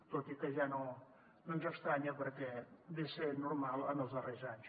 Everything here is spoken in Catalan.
tot i que ja no ens estranya perquè ve a ser normal en els darrers anys